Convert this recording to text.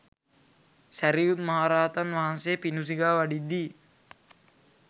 සැරියුත් මහරහතන් වහන්සේ පිඬු සිඟා වඩිද්දී